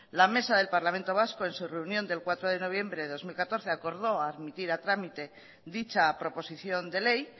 la mesa del parlamento vasco en su reunión del cuatro de noviembre dos mil catorce acordó admitir a trámite dicha proposición de ley